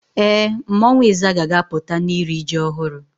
Ee, mmanwu Izaga ga-aputa na iri ji ohuru